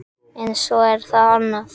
En svo er það annað.